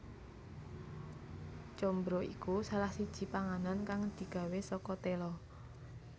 Combro iku salah siji panganan kang digawé saka tela